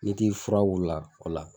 Ne t'i furaw la o la